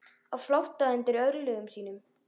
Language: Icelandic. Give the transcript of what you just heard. Á flótta undan örlögum sínum.